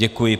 Děkuji.